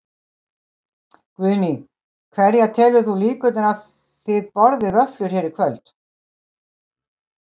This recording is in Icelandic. Guðný: Hverjar telur þú líkurnar á að þið borðið vöfflur hér í kvöld?